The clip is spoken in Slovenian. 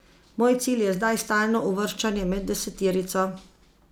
Moj cilj je zdaj stalno uvrščanje med deseterico.